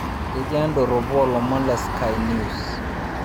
Kejaa idoropo olomon le Sky News